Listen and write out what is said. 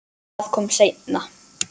Það kom seinna.